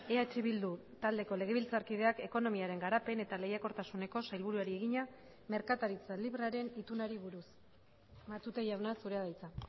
eh bildu taldeko legebiltzarkideak ekonomiaren garapen eta lehiakortasuneko sailburuari egina merkataritza librearen itunari buruz matute jauna zurea da hitza